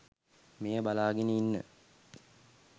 මෙය බලාගෙන ඉන්න